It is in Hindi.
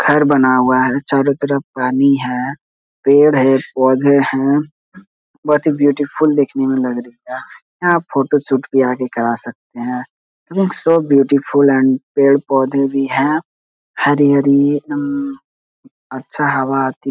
''घर बना हुआ है चारो तरफ पानी है पेड़ है पौधे हैं बहोत ही ब्यूटीफुल देखने में लग रही है यहाँ फोटोशूट भी आके करा सकते हैं इट्स सो ब्यूटीफुल एंड पेड़-पौधे भी हैं हरी-हरी उम् अच्छा हवा आती --''